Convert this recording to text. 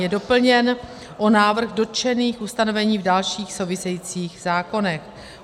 Je doplněn o návrh dotčených ustanovení v dalších souvisejících zákonech.